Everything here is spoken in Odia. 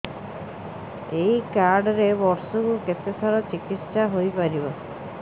ଏଇ କାର୍ଡ ରେ ବର୍ଷକୁ କେତେ ଥର ଚିକିତ୍ସା ହେଇପାରିବ